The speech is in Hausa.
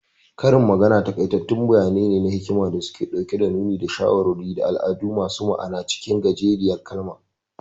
Karin magana takaitattun bayani ne na hikima da suke nuni da shawarwari, da al'adu masu ma'ana acikin gajeriyar kalma.